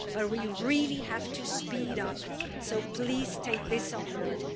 But we really have to speed up, so please take this on board.